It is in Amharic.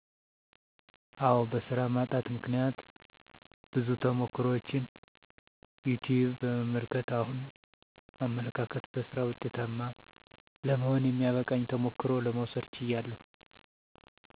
አዎ በሥራ ማጣት ምክነያት ብዙ ተሞክሮችን ዩትዩብ በመመልከት አሁን አመለካከት በሥራ ወጤታማ ለመሆን የሚያበቃኝን ተሞክሮ ለመውሰድ ችያለሁ